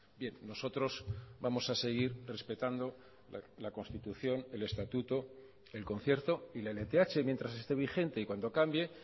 bien nosotros vamos a seguir respetando la constitución el estatuto el concierto y la lth mientras esté vigente y cuando cambie